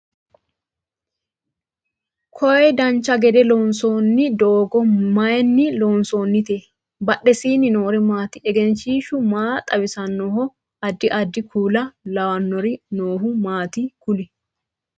koye dancha gede loonsoonni doogo mayeenni loosantinote? badheseenni noori maati? egenshiishshu maa xawisannoho? addi addi kuula lawanori noohu maati kuli?